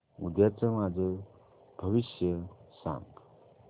उद्याचं माझं भविष्य सांग